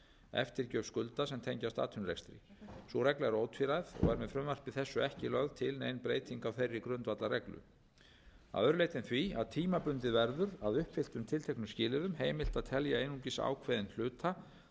eftirgjöf skulda sem tengjast atvinnurekstri sú regla er ótvíræð og er með frumvarpi þessu ekki lögð til nein breyting á þeirri grundvallarreglu að öðru leyti en því að tímabundið verður að uppfylltum tilteknum skilyrðum heimilt að telja einungis ákveðinn hluta þeirrar